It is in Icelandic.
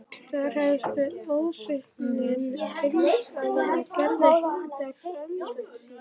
Þar hefst við ósvikinn einsetumaður af gerð heilags Antóníusar.